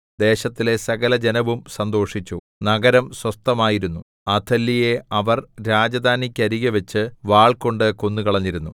ദേശത്തിലെ സകലജനവും സന്തോഷിച്ചു നഗരം സ്വസ്ഥമായിരുന്നു അഥല്യയെ അവർ രാജധാനിക്കരികെവെച്ച് വാൾകൊണ്ടു കൊന്നുകളഞ്ഞിരുന്നു